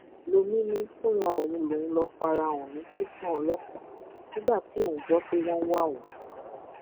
lomi ni fúnra òun lòun lọọ fara hàn ní tẹsán ọlọpàá nígbà tí òun gbọ pé wọn ń wá òun